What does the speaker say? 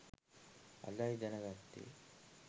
අදයි දැන ගත්තෙ